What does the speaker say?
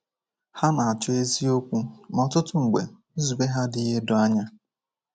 Ha na-achọ eziokwu, ma ọtụtụ mgbe nzube ha adịghị edo anya.